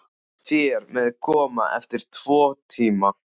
Þér megið koma eftir tvo tíma.